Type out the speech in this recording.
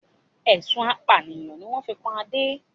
Ẹ̀sùn apànìyàn ni wọn fi kan Adé